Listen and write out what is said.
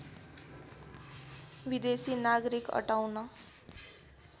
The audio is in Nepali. विदेशी नागरिक अटाउन